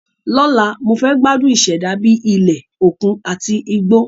Lọ́la, mo fẹ́ gbádùn ìṣẹ̀dá bíi ilẹ̀, òkun àti igbó.